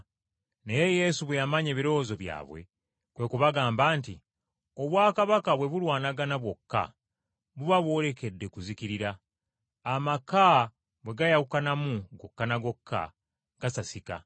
Naye Yesu bwe yamanya ebirowoozo byabwe, kwe kubagamba nti, “Obwakabaka bwe bulwanagana bwokka, buba bwolekedde kuzikirira, amaka bwe gayawukanamu gokka ne gokka gasasika.